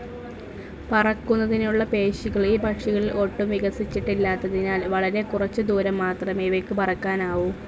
പറക്കുന്നതിനുള്ള പേശികൾ ഈ പക്ഷികളിൽ ഒട്ടും വികസിച്ചിട്ടില്ലാത്തതിനാൽ വളരെ കുറച്ച് ദൂരം മാത്രേ ഇവയ്ക്ക് പറക്കാനാവു.